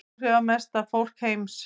Áhrifamesta fólk heims